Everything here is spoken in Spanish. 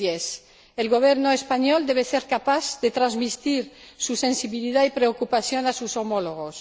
2010. El Gobierno español debe ser capaz de transmitir su sensibilidad y preocupación a sus homólogos.